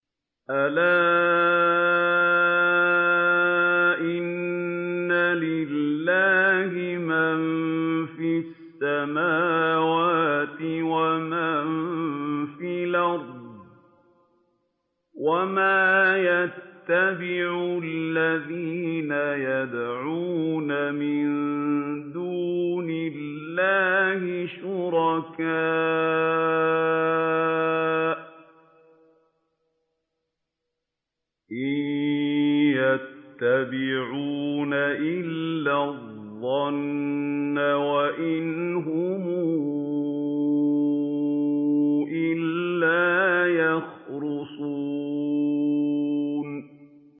أَلَا إِنَّ لِلَّهِ مَن فِي السَّمَاوَاتِ وَمَن فِي الْأَرْضِ ۗ وَمَا يَتَّبِعُ الَّذِينَ يَدْعُونَ مِن دُونِ اللَّهِ شُرَكَاءَ ۚ إِن يَتَّبِعُونَ إِلَّا الظَّنَّ وَإِنْ هُمْ إِلَّا يَخْرُصُونَ